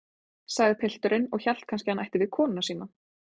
sagði pilturinn og hélt kannski hann ætti við konuna sína.